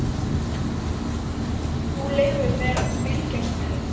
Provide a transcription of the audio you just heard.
Þú leyfir mér að fylgjast með.